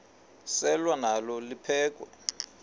selwa nalo liphekhwe